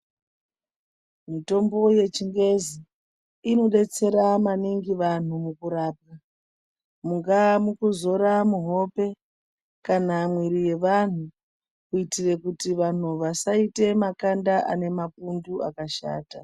Mitombo yechingezi inodetsera maningi vantu mukurapa mungava kuzora muhope kana mwiri wevanhu kuitira kuita vantu vasaita makanda nemapundu akashata.